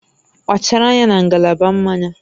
Kpachara anya na ngalaba mmanya